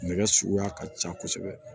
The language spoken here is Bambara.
Nɛgɛ suguya ka ca kosɛbɛ